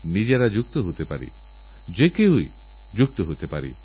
মন্দিরে আরাধনাস্থলে উৎসব পালিত হবেআর আপনারাও ঘরেবাইরে উৎসবে মেতে উঠবেন